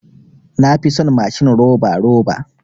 Na fi son mashin roba roba.